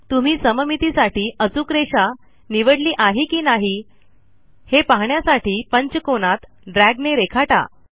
तुम्ही सममितीसाठी अचूक रेषा निवडली आहे की नाही हे पाहण्यासाठी पंचकोनात ड्रॅगने रेखाटा